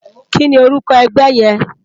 Kìní órùkò ègbè yèn?